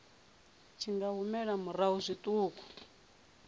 tshi nga humela murahu zwiṱuku